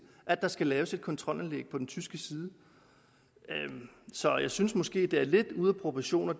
at der skal laves et kontrolanlæg på den tyske side så jeg synes måske er lidt ude af proportioner